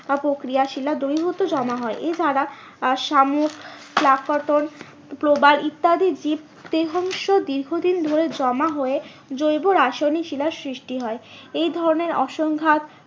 বা প্রক্রিয়া শিলা দ্রবীভূত জমা হয় এছাড়া আহ শামুক প্রবাল ইত্যাদি জীব দেহাংশ দীর্ঘদিন ধরে জমা হয়ে জৈব রাসায়নিক শিলার সৃষ্টি হয়। এই ধরণের অসংঘাত